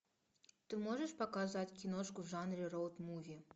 ты можешь показать киношку в жанре роуд муви